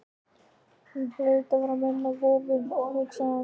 Hún hlaut að minna á vofu, hugsaði hún.